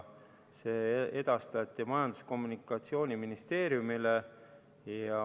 Need edastati Majandus- ja Kommunikatsiooniministeeriumile.